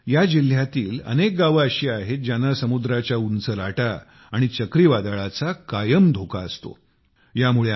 म्हणूनच या जिल्ह्यातील अनेक गावे अशी आहेत ज्यांना समुद्राच्या उंच लाटा आणि चक्रीवादळाचा कायम धोका असतो